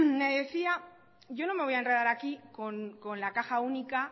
me decía yo no me voy a enredar aquí con la caja única